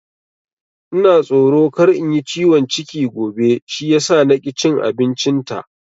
Ina tsoro kar in yi ciwon ciki gobe shi yasa na ki cin abincin ta